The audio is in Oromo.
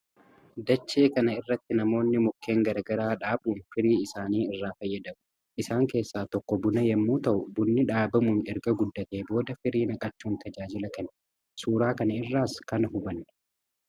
Dachee kana irratti namoonni mukeen gara garaa dhaabuun firii isaanii irraa fayyadamu. Isaan keessaa tokko buna yommuu ta'u, bunni dhaabamuun erga guddatee booda firii naqachuun tajaajila kenna. Suuraa kana irraas kana hubanna.